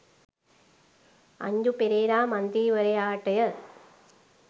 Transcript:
අංජු පෙරේරා මන්ත්‍රීවරයාට ය.